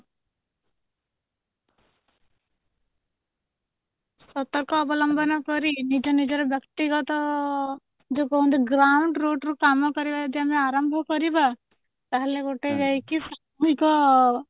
ସତର୍କ ଅବଲମ୍ବନ କରି ନିଜ ନିଜର ବ୍ୟକ୍ତିଗତ ଯୋଉ ପର୍ଯ୍ୟନ୍ତ ground root ରୁ କାମ କରିବା ଯଦି ଆମେ ଆରମ୍ଭ କରିବା ତାହଲେ ଗୋଟେ ଯାଇକି ସାମୁହିକ